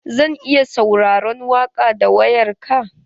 Zan iya sauraron waƙa da wayar ka?